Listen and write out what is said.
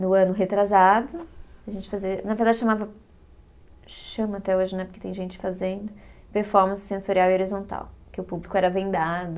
No ano retrasado, a gente fazia, na verdade chamava, chama até hoje, né, porque tem gente fazendo, performance sensorial e horizontal, que o público era vendado.